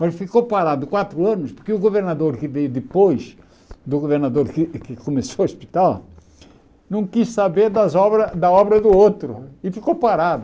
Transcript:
Mas ficou parado quatro anos porque o governador que veio depois, do governador que que começou o hospital, não quis saber das obras da obra do outro e ficou parado.